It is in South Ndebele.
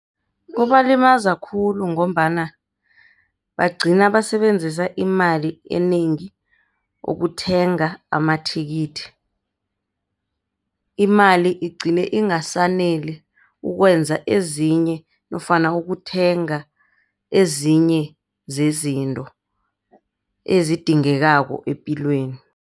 Kubalimaza khulu, ngombana bagcina basebenzisa imali enengi ukuthenga amathikithi. Imali igcine ingasaneli ukwenza ezinye nofana ukuthenga ezinye zezinto ezidingekako epilweni.